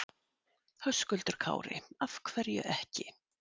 Höskuldur Kári: Af hverju ekki?